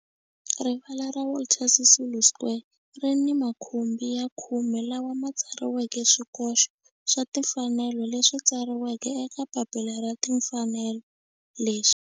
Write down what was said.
Rivala ra Walter Sisulu Square ri ni makhumbi ya khume lawa ma tsariweke swikoxo swa timfanelo leswi tsariweke eka papila ra timfanelo leswi.